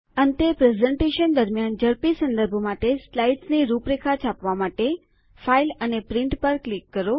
અંતે પ્રસ્તુતિકરણ દરમિયાન ઝડપી સંદર્ભ માટે સ્લાઇડ્સ ની રૂપરેખા છાપવા માટે ફાઇલ અને પ્રિન્ટ પર ક્લિક કરો